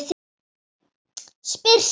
Spyr samt.